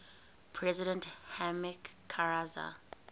president hamid karzai